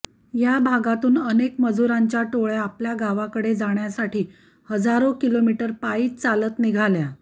या भागातुन अनेक मजूरांच्या टोळ्या आपल्या गावाकडे जाण्यासाठी हजारो किलोमिटर पायीच चालत निघाल्या